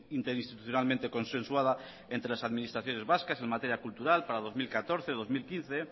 interinstitucionalmente consensuada entre las administraciones vascas en materia cultural para dos mil catorce y dos mil quince